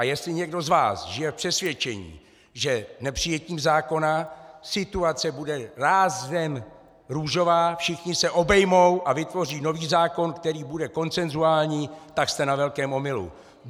A jestli někdo z vás žije v přesvědčení, že nepřijetím zákona situace bude rázem růžová, všichni se obejmou a vytvoří nový zákon, který bude konsenzuální, tak jste na velkém omylu.